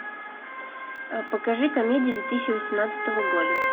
покажи комедии две тысячи восемнадцатого года